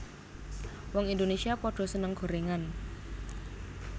Wong Indonesia podo seneng gorengan